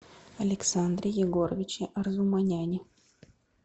александре егоровиче арзуманяне